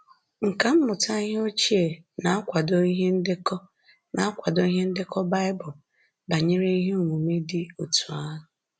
Nkà mmụta ihe ochie na-akwado ihe ndekọ na-akwado ihe ndekọ Bible banyere ihe omume dị otú ahụ